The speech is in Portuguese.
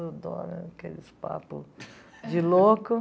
Adora aqueles papo de louco.